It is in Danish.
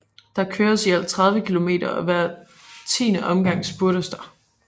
Der køres i alt 30 km og hver 10 omgang spurtes der